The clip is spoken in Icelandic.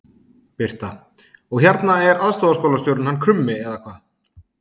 Birta: Og hérna er aðstoðarskólastjórinn hann Krummi eða hvað?